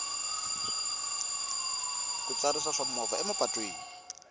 ku tsarisa swa mimovha emapatwini